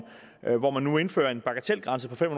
hvor man nu indfører en bagatelgrænse på fem